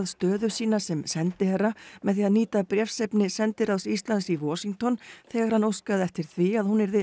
stöðu sína sem sendiherra með því að nýta bréfsefni sendiráðs Íslands í Washington þegar hann óskaði eftir því að hún yrði